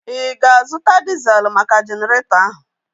Ị ga-azụta diezel maka Jeneretọ ahu?